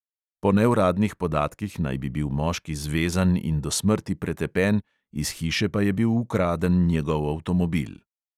Po neuradnih podatkih naj bi bil moški zvezan in do smrti pretepen, iz hiše pa je bil ukraden njegov avtomobil.